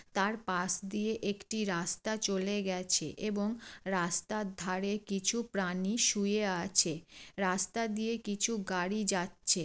তার পাশ দিয়ে একটি রাস্তা চলে গেছে এবং রাস্তার ধরে কিছু প্রাণী শুয়ে আছে রাস্তা দিয়ে কিছু গাড়ি যাচ্ছে।